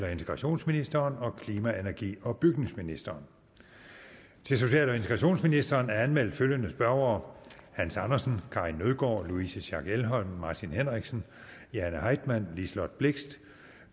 og integrationsministeren og klima energi og bygningsministeren til social og integrationsministeren er anmeldt følgende spørgere hans andersen karin nødgaard louise schack elholm martin henriksen jane heitmann liselott blixt